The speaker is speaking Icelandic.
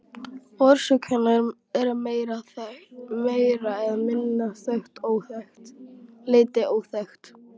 Orsök hennar er að meira eða minna leyti óþekkt.